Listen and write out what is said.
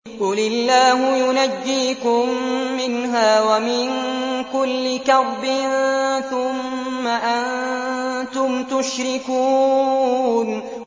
قُلِ اللَّهُ يُنَجِّيكُم مِّنْهَا وَمِن كُلِّ كَرْبٍ ثُمَّ أَنتُمْ تُشْرِكُونَ